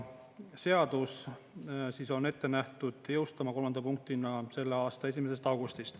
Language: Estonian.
Seadus on ette nähtud jõustuma 3. punktina selle aasta 1. augustil.